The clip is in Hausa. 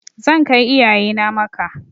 Zan kai iyaye na Makka.